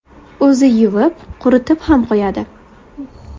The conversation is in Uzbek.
O‘zi yuvib, quritib ham qo‘yadi.